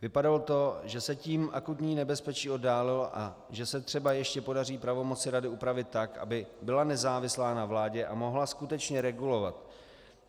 Vypadalo to, že se tím akutní nebezpečí oddálilo a že se třeba ještě podaří pravomoci rady upravit tak, aby byla nezávislá na vládě a mohla skutečně regulovat.